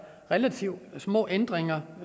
relativt små ændringer